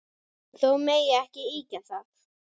Þó megi ekki ýkja það.